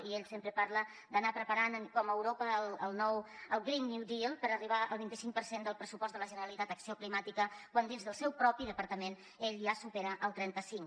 i ell sempre parla d’anar preparant com a europa el green new deal per arribar al vint cinc per cent del pressupost de la generalitat en acció climàtica quan dins del seu propi departament ell ja supera el trenta cinc